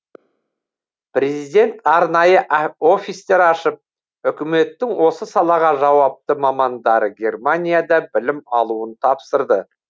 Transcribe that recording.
президент арнайы офистер ашып үкіметтің осы салаға жауапты мамандары германияда білім алуын тапсырды